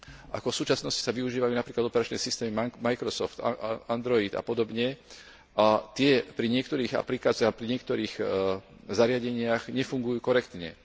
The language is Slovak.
Ako v súčasnosti sa využívajú napríklad operačné systémy Microsoft, Android a podobne a tie pri niektorých aplikáciách a pri niektorých zariadeniach nefungujú korektne.